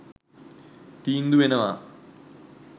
තීන්දු වෙනවා.